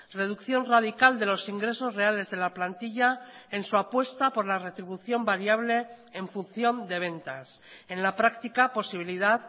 reducción radical de los ingresos reales de la plantilla en su apuesta por la retribución variable en función de ventas en la práctica posibilidad